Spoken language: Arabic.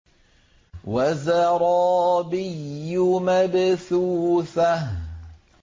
وَزَرَابِيُّ مَبْثُوثَةٌ